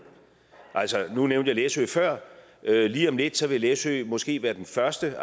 nu nævnte jeg læsø før og lige om lidt vil læsø måske være den første